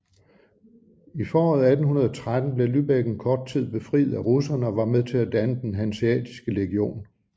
I foråret 1813 blev Lübeck en kort tid befriet af russerne og var med til at danne den hanseatiske legion